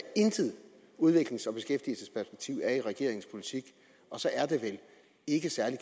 intet udviklings og beskæftigelsesperspektiv er i regeringens politik og så er det vel ikke særlig